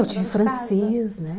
Eu tive francês, né?